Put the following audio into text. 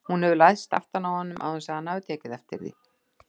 Hún hefur læðst aftan að honum án þess að hann hafi tekið eftir því.